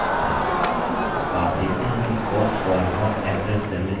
आप देखते हैं कि cost column का average cell में दिखाई देता है